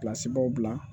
bila